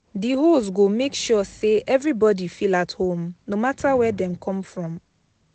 Di host go make sure say everybody feel at home no matter where dem come from